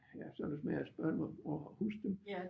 Ja så det vidst mere et spørgsmål om at huske dem